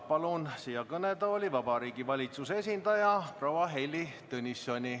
Palun kõnetooli Vabariigi Valitsuse esindaja proua Heili Tõnissoni.